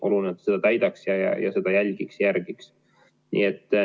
Oluline on, et ta seda täidaks, seda järgiks.